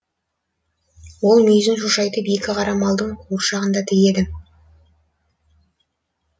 ол мүйізін шошайтып екі қара малдың қуыршағын да тігеді